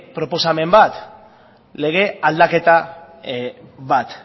proposamen bat lege aldaketa bat